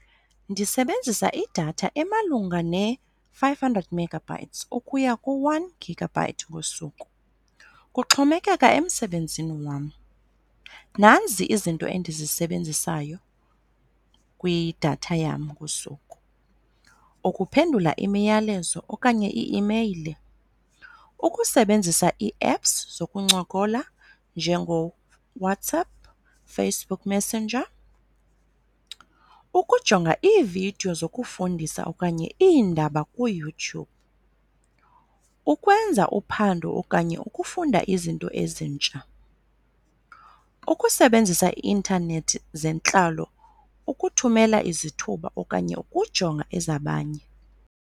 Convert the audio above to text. Ndisebenzisa idatha emalunga ne-five hundred megabytes ukuya ku-one gigabyte ngosuku kuxhomekeka emsebenzini wam. Nanzi izinto endizisebenzisayo kwidatha yam ngosuku, ukuphendula imiyalezo okanye ii-imeyile, ukusebenzisa ii-apps zokuncokola njengoWhatsapp, Facebook Messenger, ukujonga iividiyo zokufundisa okanye iindaba kuYouTube, ukwenza uphando okanye ukufunda izinto ezintsha, ukusebenzisa ii-intanethi zentlalo, ukuthumela izithuba okanye ukujonga ezabanye.